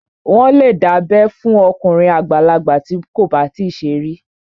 Wọ́n lè dábẹ́ fún okùnrin àgbàlagbà bí kò bá tíì ṣe rí